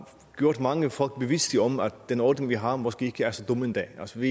gjort mange folk bevidste om at den ordning vi har måske ikke er så dum endda altså